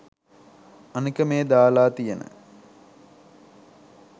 අනික මේ දාලා තියන